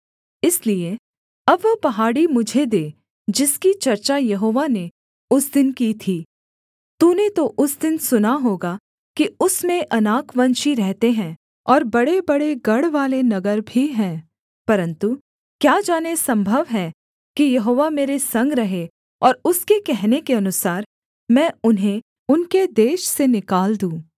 इसलिए अब वह पहाड़ी मुझे दे जिसकी चर्चा यहोवा ने उस दिन की थी तूने तो उस दिन सुना होगा कि उसमें अनाकवंशी रहते हैं और बड़ेबड़े गढ़वाले नगर भी हैं परन्तु क्या जाने सम्भव है कि यहोवा मेरे संग रहे और उसके कहने के अनुसार मैं उन्हें उनके देश से निकाल दूँ